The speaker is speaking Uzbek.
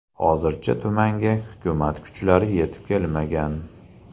Hozircha tumanga hukumat kuchlari yetib kelmagan.